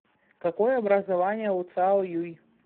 какое образование у цао юй